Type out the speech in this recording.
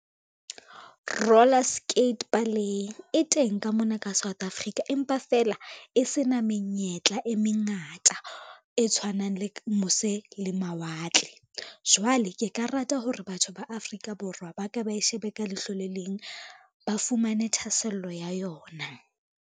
Roller skate e teng ka mona ka South Africa, empa fela e se na menyetla e mengata e tshwanang le mose le mawatle. Jwale ke ka rata hore batho ba Afrika Borwa ba ka ba e shebe ka leihlo le leng ba fumane thahasello ya yona.